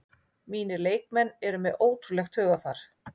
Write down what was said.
Mínir leikmenn eru með ótrúlegt hugarfar